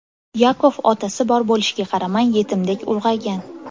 Yakov otasi bor bo‘lishiga qaramay yetimdek ulg‘aygan.